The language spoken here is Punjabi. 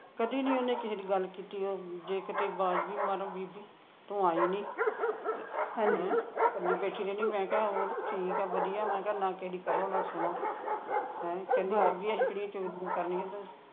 ਕਦੀ ਨਹੀਂ ਕਿਸੇ ਦੀ ਗੱਲ ਕੀਤੀ ਉਹ ਜੇ ਕਿਤੇ ਵਾਜ ਵੀ ਮਾਰਾ ਬੀਬੀ ਤੂੰ ਆਈ ਨਹੀਂ ਕੱਲੀ ਬੈਠੀ ਰਹਿਣੀ ਮੈਂ ਕਿਹਾ ਉਹ ਠੀਕ ਆ ਵਧੀਆ ਮੈਂ ਕਿਹਾ ਨਾ ਕਿਸੇ ਦੀ ਕਰੋ ਨਾ ਸੁਣੋ ਕਰਨੀ ਆ ਤੋਂ